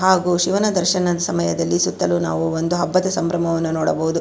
ಹಾಗು ಶಿವನ ದರ್ಶನ ಸಮಯದಲ್ಲಿ ಸುತ್ತಲು ನಾವು ಒಂದು ಹಬ್ಬದ ಸಂಭ್ರಮವನ್ನು ನೋಡಬಹುದು.